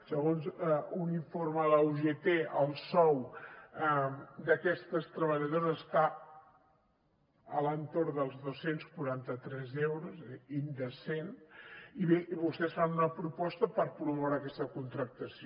segons un informe de l’ugt el sou d’aquestes treballadores està a l’entorn dels dos cents i quaranta tres euros indecent i bé vostès fan una proposta per promoure aquesta contractació